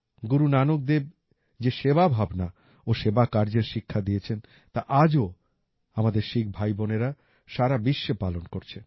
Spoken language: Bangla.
গুরু নানক দেব যে সেবা ভাবনা ও সেবা কার্যের শিক্ষা দিয়েছেন তা আজও আমাদের শিখ ভাইবোনেরা সারা বিশ্বে পালন করছে